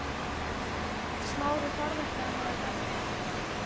Smári þorði ekki annað en elta.